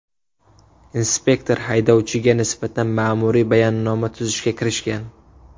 Inspektor haydovchiga nisbatan ma’muriy bayonnoma tuzishga kirishgan.